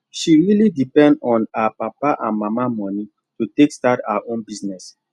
she really depend on her papa and mama money to take start her own business